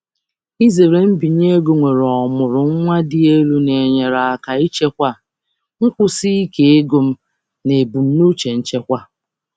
Izere mbinye ego nwere ọmụrụ nwa dị elu na-enyere um aka ichekwa nkwụsi ike ego m na ebumnuche nchekwa. um